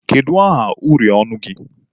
Kedu aha uri ọnụ gị?